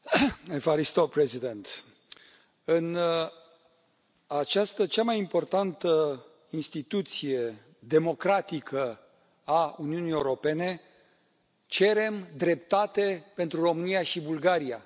Domnule președinte, în această cea mai importantă instituție democratică a Uniunii Europene, cerem dreptate pentru România și Bulgaria.